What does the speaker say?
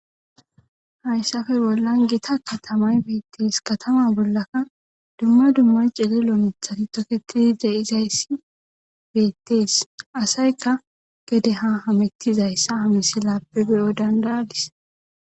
hayssafe bollan gita katamay beettees katama bollakka dumma dumma celelo mithati toketii de'izayssi beettees asayka gede ha hamittizayssa ha misilaappe beyo dandayadis